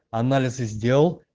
анализы сделал